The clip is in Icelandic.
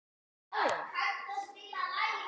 Þetta er engu líkt.